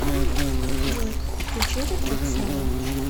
джой включи этот трек снова